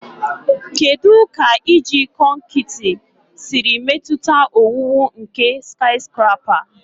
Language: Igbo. Kedu ka iji kọnkịtị siri metụta owuwu nke skiscrapa?